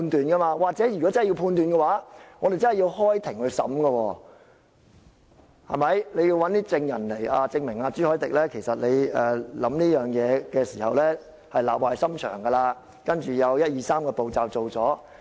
如果主席真的要作出判斷，我們真的要開庭審訊，主席要找證人證明朱凱廸提出這議案是立壞心腸，接着進行一、二、三個步驟。